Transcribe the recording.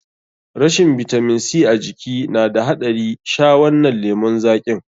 Rashin bitamin C a jiki na da haɗari, sha wannan lemun zaƙin.